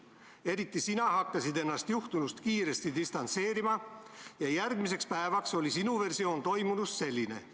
Eriti sina hakkasid ennast juhtunust kiiresti distantseerima ja järgmiseks päevaks oli sinu versioon toimunust selline.